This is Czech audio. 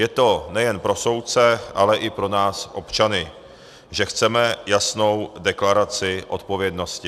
Je to nejen pro soudce, ale i pro nás občany, že chceme jasnou deklaraci odpovědnosti.